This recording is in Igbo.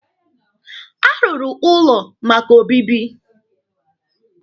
A rụrụ ụlọ maka obibi.